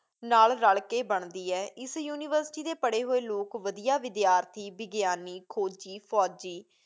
ਨਾਲ਼ ਰਲ਼ ਕੇ ਬਣਦੀ ਹੈ। ਇਸ ਯੂਨੀਵਰਸਿਟੀ ਦੇ ਪੜ੍ਹੇ ਹੋਏ ਲੋਕ ਵਧੀਆ ਵਿਦਿਆਰਥੀ, ਵਿਗਿਆਨੀ, ਖੋਜੀ, ਫ਼ੌਜੀ,